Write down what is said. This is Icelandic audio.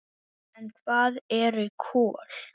En hvað eru kol?